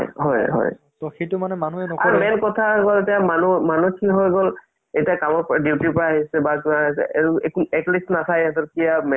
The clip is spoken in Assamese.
টো বেলেগ আৰু। তাকে মানে যব-ই মাজে সময়ে ধৰা cinema hall যাব লাগে বা তুমি cinema hall যাব নোৱাৰা তোমাৰ কিবা সমস্য়া আছে, ঘৰতে চোৱা।